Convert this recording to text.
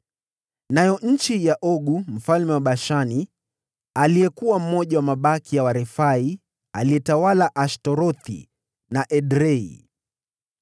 Nayo nchi ya Ogu mfalme wa Bashani, aliyekuwa mmoja wa mabaki ya Warefai, aliyetawala Ashtarothi na Edrei.